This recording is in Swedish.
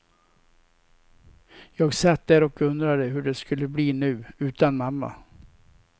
Jag satt där och undrade hur det skulle bli nu, utan mamma.